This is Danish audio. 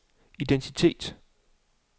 identitet